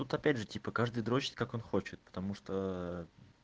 опять же типа каждый дрочет как он хочет потому что